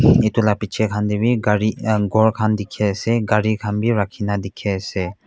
etu la piche khan de b gari um ghor khan dikhe ase gari khan b rakhi na dikhi ase.